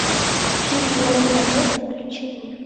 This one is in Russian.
фильм лови момент включи мне